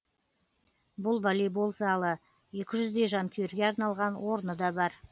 бұл волейбол залы екі жүздей жанкүйерге арналған орны да бар